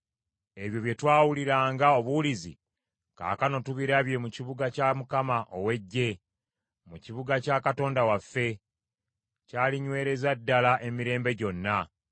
Ebyo bye twawuliranga obuwulizi, kaakano tubirabye mu kibuga kya Mukama ow’Eggye, mu kibuga kya Katonda waffe, kyalinywereza ddala emirembe gyonna.